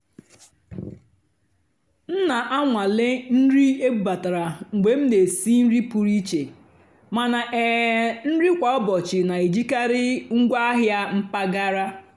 m nà-ànwàlé nrì ébúbátàrá mgbe m nà-èsì nrì pụ́rụ́ íché màná um nrì kwá ụ́bọ̀chị́ nà-èjìkarị́ ngwáàhịá mpàgàrà.